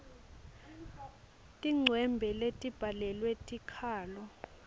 tincwembe letibhalwe tikhalo